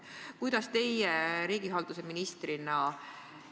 Missugust lahendust teie riigihalduse ministrina näete?